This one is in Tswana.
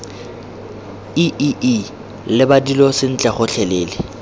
iii leba dilo sentle gotlhelele